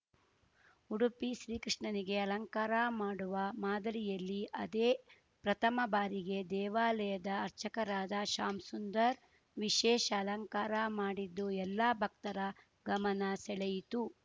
ಉಡುಪಿ ಶ್ರೀಕೃಷ್ಣನಿಗೆ ಅಲಂಕಾರ ಮಾಡುವ ಮಾದರಿಯಲ್ಲಿ ಅದೇ ಪ್ರಥಮ ಬಾರಿಗೆ ದೇವಾಲಯದ ಅರ್ಚಕರಾದ ಶ್ಯಾಮ್‌ ಸುಂದರ್‌ ವಿಶೇಷ ಅಲಂಕಾರ ಮಾಡಿದ್ದು ಎಲ್ಲಾ ಬಕ್ತರ ಗಮನ ಸೆಳೆಯಿತು